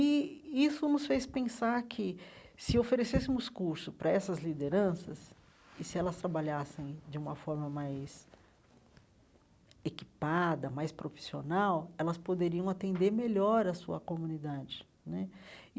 E isso nos fez pensar que, se oferecêssemos cursos para essas lideranças e se elas trabalhassem de uma forma mais equipada, mais profissional, elas poderiam atender melhor à sua comunidade né e.